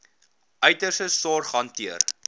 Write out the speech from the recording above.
uiterste sorg hanteer